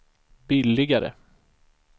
billigare